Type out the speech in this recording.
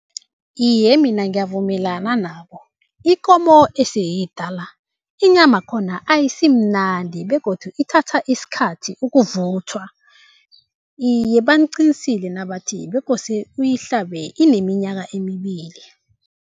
Iye, mina ngiyavumelana nabo, ikomo esiyidala inyama khona ayisimnandi begodu ithatha isikhathi ukuvuthwa. Iye, baqinisile nabathi bekose uyahlabe ineminyaka emibili.